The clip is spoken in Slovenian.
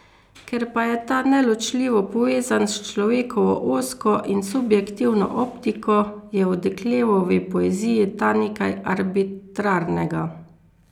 Ker pa je ta neločljivo povezan s človekovo ozko in subjektivno optiko, je v Deklevovi poeziji ta nekaj arbitrarnega.